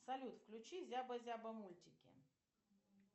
салют включи зяба зяба мультики